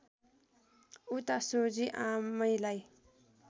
उता सोझी आमैलाई